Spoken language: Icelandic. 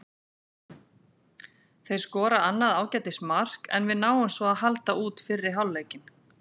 Þeir skora annað ágætis mark, en við náum svo að halda út fyrri hálfleikinn.